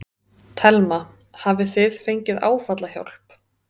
Telma: Hafið þið fengið áfallahjálp?